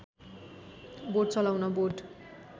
बोट चलाउन बोट